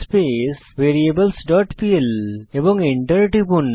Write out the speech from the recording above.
space variables dot PL এবং enter টিপুন